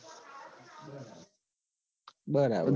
બરાબર